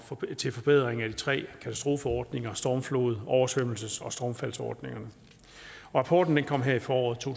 til forbedringer af de tre katastrofeordninger stormflods oversvømmelses og stormfaldsordningerne rapporten kom her i foråret to